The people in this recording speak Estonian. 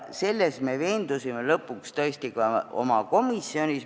Selles me veendusime lõpuks tõesti ka oma komisjonis.